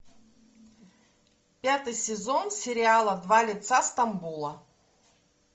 пятый сезон сериала два лица стамбула